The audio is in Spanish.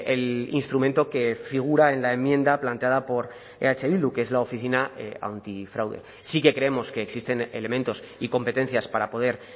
el instrumento que figura en la enmienda planteada por eh bildu que es la oficina antifraude sí que creemos que existen elementos y competencias para poder